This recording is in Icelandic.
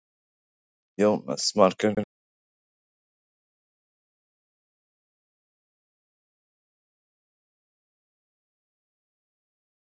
Jónas Margeir Ingólfsson: Treystirðu ekki Bjarna Benediktssyni til að gegna því hlutverki?